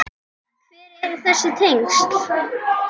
Hver eru þessi tengsl?